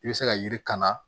I bɛ se ka yiri kan